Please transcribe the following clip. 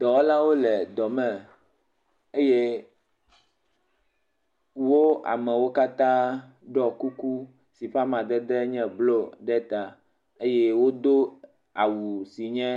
Dɔwɔlawo le dɔme eye wo amewo katã ɖɔ kuku si ƒe amadede enye blɔ ɖe ta eye wodo awu si nye